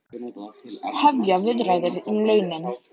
Hefja viðræður um launin